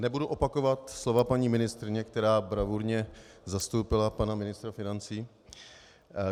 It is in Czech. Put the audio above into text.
Nebudu opakovat slova paní ministryně, která bravurně zastoupila pana ministra financí.